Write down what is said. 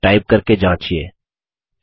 इसको टाइप करके जाँचिये